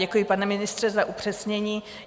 Děkuji, pane ministře, za upřesnění.